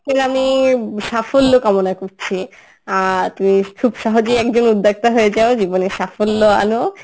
আমি সাফল্য কামনা করছি আর তুমি খুব সহজেই একজন উদ্যোক্তা হয়ে যাও জীবনে সাফল্য আনো